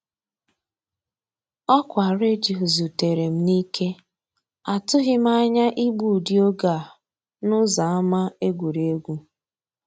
Ọkwa redio zutere m n'ike; atụghị m anya igbu ụdị oge a n'ụzọ ama egwuregwu.